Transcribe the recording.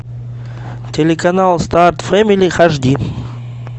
телеканал старт фэмили аш ди